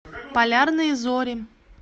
полярные зори